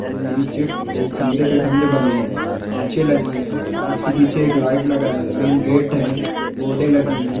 नीचे खंधे के खंधे बने हैं कांचे लगी है कांच के पीछे एक लाइट लगा है मेन गेट है बोर्डे लगी है।